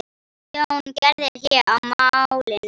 Jón gerði hlé á málinu.